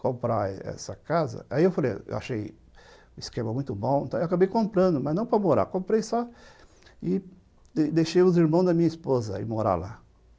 comprar essa casa, aí eu falei, eu achei o esquema muito bom, então eu acabei comprando, mas não para morar, comprei só e deixei os irmãos da minha esposa ir morar lá.